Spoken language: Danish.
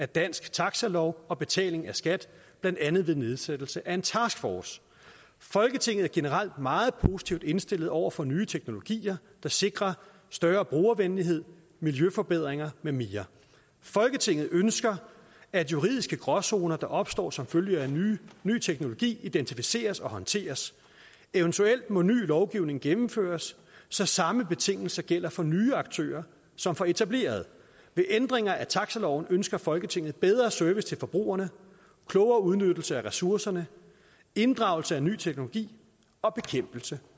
danske taxilov og betaling af skat blandt andet ved nedsættelse af en taskforce folketinget er generelt meget positivt indstillet over for nye tekonologier der sikrer større brugervenlighed miljøforbedringer med mere folketinget ønsker at juridiske gråzoner der opstår som følge af ny ny teknologi identificeres og håndteres eventuelt må ny lovgivning gennemføres så samme betingelser gælder for nye aktører som for etablerede ved ændringer af taxiloven ønsker folketinget bedre service til forbrugerne klogere udnyttelse af ressourcerne inddragelse af ny teknologi og bekæmpelse